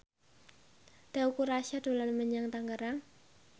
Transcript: Teuku Rassya dolan menyang Tangerang